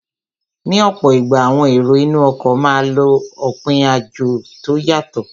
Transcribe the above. Ní ọ̀pọ̀ ìgbà, àwọn èrò inú ọkọ̀ máa n lọ òpin àjò tó yàtọ